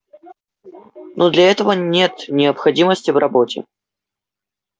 но для этого нет необходимости в роботе